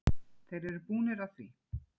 Þeir eru búnir að því.